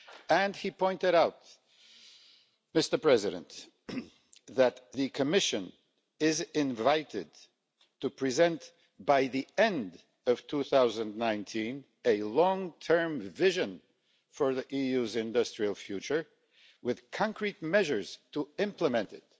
And he pointed out that the Commission is invited to present by the end of 2019 a long-term vision for the EU's industrial future with concrete measures to implement it.